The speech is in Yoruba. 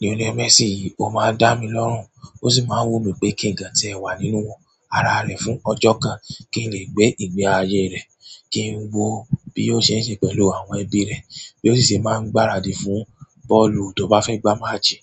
Lionel Messi yìí, ó máa ń dá mi lọ́rùn, ó sì máa ń wù mí pé kí n gbà kan tí ẹ wà nínú wọn, ara rẹ̀ fún ọjọ́ kan, kí n lè gbé ìgbé ayé rẹ̀, kí n wó bí ó ṣe ń ṣe pẹ̀lú àwọn ẹbí rẹ̀, bí ó ṣì ṣe máa ń gbáradì fún bọ́ọ̀lù tó bá fẹ́ gbá maasi.